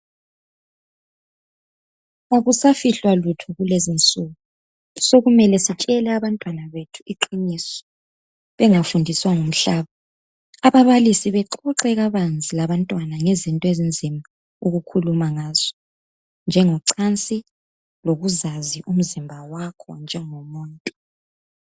Akusafihlwa lutho kulezinsuku, sekumele sitshele abantwana bethu iqiniso, bengafundiswa ngumhlaba. Ababalisi bexoxe kabanzi labantwana ngezinto ezinzima ukukhuluma ngazo, njengocansi lokuzazi umzimba wakho njengomuntu.